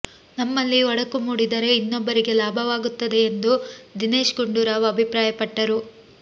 ನಮ್ಮಲ್ಲಿ ಒಡಕು ಮೂಡಿದರೆ ಇನ್ನೊಬ್ಬರಿಗೆ ಲಾಭವಾಗುತ್ತದೆ ಎಂದು ದಿನೇಶ್ ಗುಂಡೂರಾವ್ ಅಭಿಪ್ರಾಯಪಟ್ಟರು